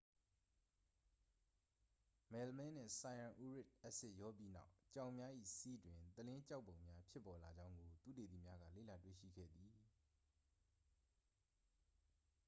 မယ်လမင်းနှင့် ဆိုင်ရန်အူရစ်အက်ဆစ် ရောပြီးနောက် ကြောင်များ၏ ဆီးတွင် သလင်းကျောက်ပုံများ ဖြစ်ပေါ်လာကြောင်းကို သုတေသီများက လေ့လာတွေ့ရှိခဲ့သည်